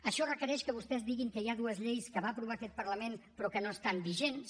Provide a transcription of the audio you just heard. això requereix que vostès diguin que hi ha dues lleis que va aprovar aquest parlament però que no estan vigents